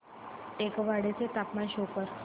टेकवाडे चे तापमान शो कर